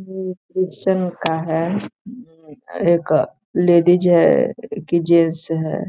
ये एक क्रिश्चन का है लेडिज है की जेन्स है